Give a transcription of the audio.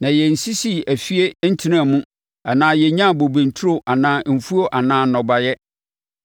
na yɛnsisii afie ntenaa mu anaa yɛnnyaa bobe nturo anaa mfuo anaa nnɔbaeɛ.